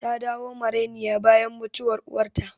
Ta dawo marainiya bayan mutuwar uwarta